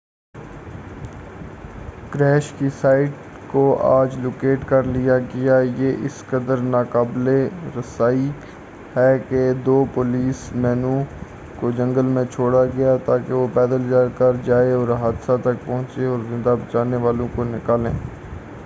crash کی site کو آج لوکیٹ کر لیا گیا یہ اس قدر نا قابلِ رسائی ہے کہ دو پولیس مینوں کو جنگل میں چھوڑا گیا تاکہ وہ پیدل چل کر جائے حادثہ تک پہنچیں اور زندہ بچنے والوں کو نکالیں